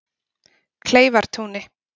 Kleifartúni